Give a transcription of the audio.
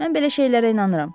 Mən belə şeylərə inanıram.